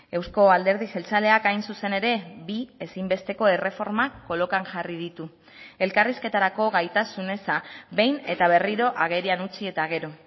euzko alderdi jeltzaleak hain zuzen ere bi ezinbesteko erreformak kolokan jarri ditu elkarrizketarako gaitasun eza behin eta berriro agerian utzi eta gero